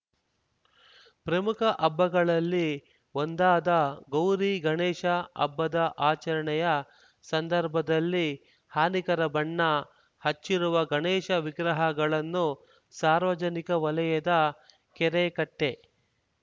ಪ್ರಮುಖ ಹಬ್ಬಗಳಲ್ಲಿ ಒಂದಾದ ಗೌರಿ ಗಣೇಶ ಹಬ್ಬದ ಆಚರಣೆಯ ಸಂದರ್ಭದಲ್ಲಿ ಹಾನಿಕರ ಬಣ್ಣ ಹಚ್ಚಿರುವ ಗಣೇಶ ವಿಗ್ರಹಗಳನ್ನು ಸಾರ್ವಜನಿಕ ವಲಯದ ಕೆರೆಕಟ್ಟೆ